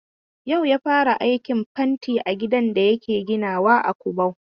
Ya'u ya fara aikin fentin gidan da yake ginawa a Kubau.